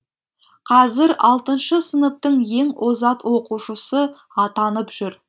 қазір алтыншы сыныптың ең озат оқушысы атанып жүр